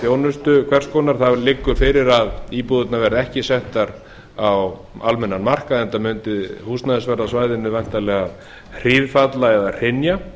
þjónustu hvers konar það liggur fyrir að íbúðirnar verða ekki settar á almennan markað enda mundi húsnæðisverð á svæðinu væntanlega hríðfalla eða hrynja